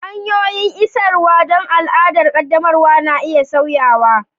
Hanyoyin isarwa don al'adar ƙaddamarwa na iya sauyawa